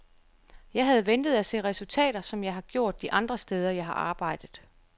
Jeg havde ventet at se resultater, som jeg har gjort de andre steder, jeg har arbejdet.